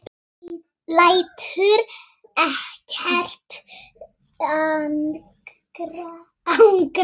Lætur ekkert angra sig framar.